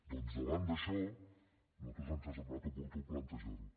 doncs davant d’això a nosaltres ens ha semblat oportú plantejar ho